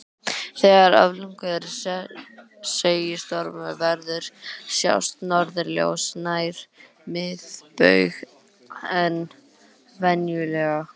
Þegar öflugir segulstormar verða sjást norðurljós nær miðbaug en venjulega.